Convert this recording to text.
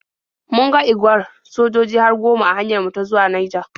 Mun ga igwar sojoji har goma a hanyar mu ta zuwa Naija.